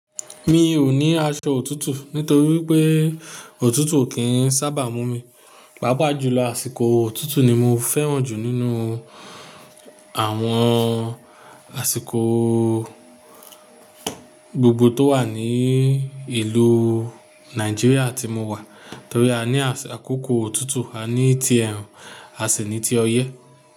Mi ò ní aṣọ òtútù nítorí pé òtútù kì í sábà mú mi. Pápá jùlọ àsìkò òtútù ni mo fẹ́ràn jù nínú àwọn àsìkò gbogbo tó wà ní ìlú Nàìjíríà tí mo wà. Torí a ní àkókò òtútù, a ní tí ẹrun, a sì ní ti ọyẹ́.